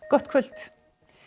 gott kvöld